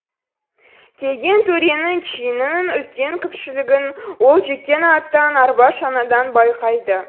келген төренің чинінің үлкен кішілігін ол жеккен аттан арба шанадан байқайды